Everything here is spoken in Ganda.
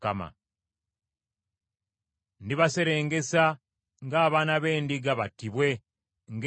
“Ndibaserengesa ng’abaana b’endiga, battibwe, ng’endiga n’embuzi.